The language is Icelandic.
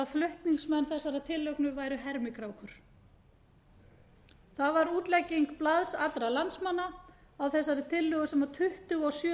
að flutningsmenn þessarar tillögu væru hermikrákur það var útlegging blaðs allra landsmanna á þessari tillögu sem tuttugu og sjö